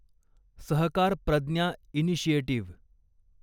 Sahakar Pragya initiative